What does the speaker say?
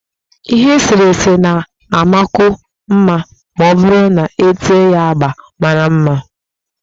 Ihe eserese na-amakwu mma ma ọ bụrụ na-ete ya agba mara mma